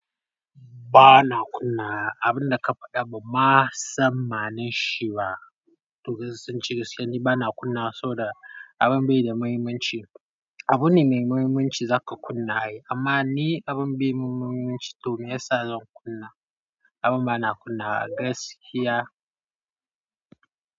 Ba na kunnawa abun da ka faɗa ban ma san ma'anan shi ba. Dukansu sun cire su yanzu, ba na kunnawa saboda abin bai da muhimmanci. Abune mai muhimmanci za ka kunna ai amma ni abin bai mun muhimmanci to me yasa zan kunna? Abin ba na kunnawa, gaskiya.